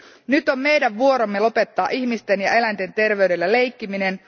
Nyt on meidän vuoromme lopettaa ihmisten ja eläinten terveydellä leikkiminen.